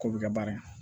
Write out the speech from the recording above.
K'o bɛ kɛ baara ye